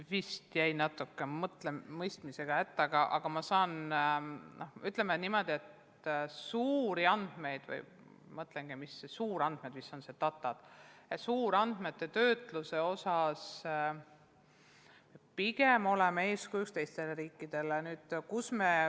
Ma jäin natuke küsimuse mõistmisega hätta, aga saan öelda, et suurandmete – ma mõtlen suurandmete all data-andmeid – töötluse osas oleme pigem eeskujuks teistele riikidele.